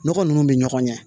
Nɔgɔ nunnu bɛ ɲɔgɔn ɲɛ